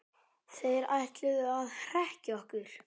Þeir ætluðu að hrekkja okkur